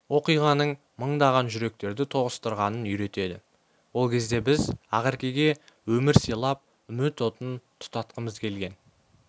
оқиғаның мыңдаған жүректерді тоғыстырғанын үйретеді ол кезде біз ақеркеге өмір сыйлап үміт отын тұтатқымыз келген